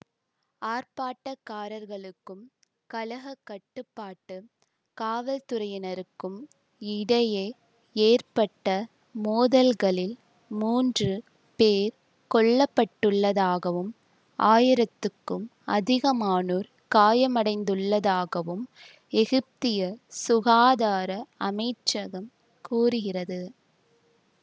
ஆர்ப்பாட்டக்காரர்களுக்கும் கலகக் கட்டுப்பாட்டு காவல்துறையினருக்கும் இடையே ஏற்பட்ட மோதல்களில் மூன்று பேர் கொல்ல பட்டுள்ளதாகவும் ஆயிரத்துக்கும் அதிகமானோர் காயமடைந்துள்ளதாகவும் எகிப்திய சுகாதார அமைச்சகம் கூறுகிறது